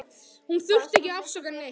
Hún þurfti ekki að afsaka neitt.